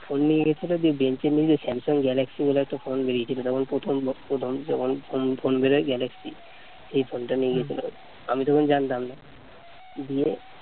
phone নিয়ে গেছিল দিয়ে bench এর নিচে স্যামসাং গ্যালাক্সি বলে একটা phone বেরিয়েছিল তখন প্রথম প্রথম phone বের হয় গ্যালাক্সি এই phone টা নিয়ে গেছিল, আমি তখন জানতাম না দিয়ে